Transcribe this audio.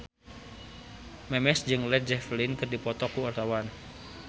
Memes jeung Led Zeppelin keur dipoto ku wartawan